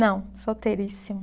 Não, solteiríssima.